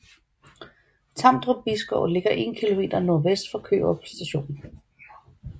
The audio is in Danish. Tamdrup Bisgård ligger 1 km nordvest for Kørup St